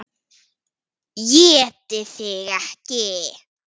ÉTI ÞIG EKKI!